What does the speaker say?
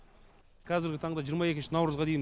қазіргі таңда жиырма екінші наурызға дейін